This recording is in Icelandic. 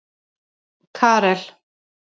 Karel